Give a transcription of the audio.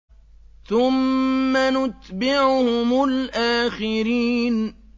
ثُمَّ نُتْبِعُهُمُ الْآخِرِينَ